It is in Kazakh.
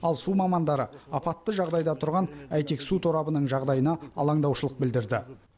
ал су мамандары апатты жағдайда тұрған әйтек су торабының жағдайына алаңдаушылық білдірді